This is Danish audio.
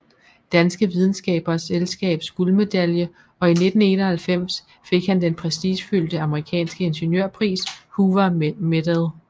Danske Videnskabernes Selskabs guldmedalje og i 1991 fik han den prestigefyldte amerikanske ingeniørpris Hoover Medal